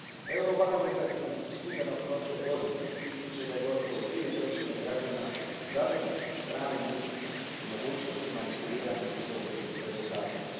Eurobarometar iz studenoga prošle godine ističe da je gotovo dvije trećine građana zabrinuto stranim utjecajem i mogućnosti manipuliranja izbornim rezultatima